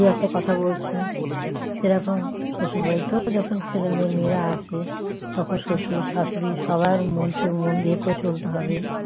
দুই একটা কথা বলছে সেরকম শশুর বাড়িতেও যখন ছেলে মেয়ে মেয়েরা আসে তখন শশুর শাশুড়ি সবার মন চো মন দিয়ে করে চলতে হবে